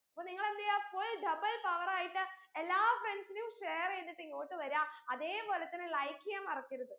അപ്പൊ നിങ്ങളെന്തെയ്യ full double power ആയിട്ട് എല്ലാ friends നും share എയ്തിട്ട് ഇങ്ങോട്ട് വര അതെ പോലെ തന്നെ like എയ്യാൻ മറക്കരുത്